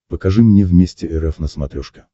покажи мне вместе эр эф на смотрешке